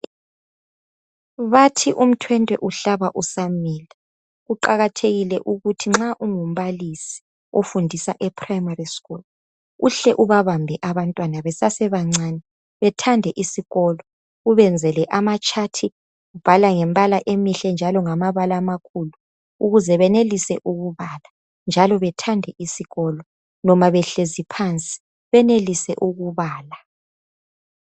Bathi imthwentwe uhlaba usamila kuqakathekile ukuthi nxa ungumbalisi ufundisa e primary school uhle ubabambe abantwana besase bancane bethande isikolo ubenzele amatshathi ubhala ngembala emihle njalo ngamabala amakhulu ukuze benelise ukubala njalo bathande isikolo noma behlezi phansi benelise ukubala.